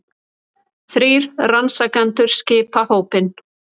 Þrír rannsakendur skipa hópinn